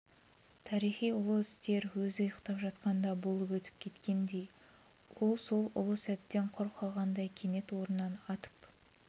тарихи ұлы істер өзі ұйықтап жатқанда болып өтіп кеткендей ол сол ұлы сәттен құр қалғандай кенет орнынан атып